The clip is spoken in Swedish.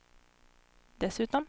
dessutom